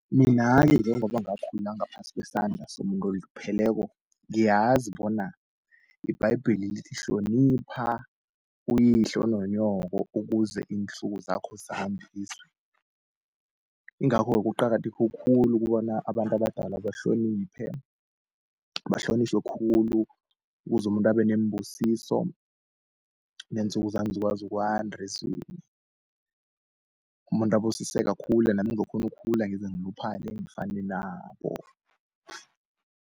Mina-ke njengoba ngakhula ngaphasi kwesandla somuntu olupheleko ngiyazi bona iBhayibheli lithi, hlonipha uyihlo nonyoko ukuze iinsuku zakho zande ezweni. Ingakho-ke kuqakatheke khulu kobana abantu abadala bahloniphe, bahlonitjhwe khulu ukuze umuntu abe nembusiso neensuku zami zikwazi ukwanda ezweni. Umuntu abusiseke akhule nami ngizokukhona ukukhula ngize ngiluphale ngifane nabo.